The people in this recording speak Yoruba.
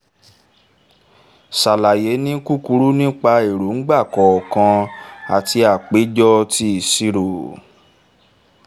sàlàyé ni kúkúrú nípa èróńgbà kọ̀ọ̀kan àti àpéjọ ti ìṣirò